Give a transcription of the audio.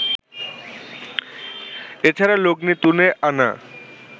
এ ছাড়া লগ্নি তুলে আনা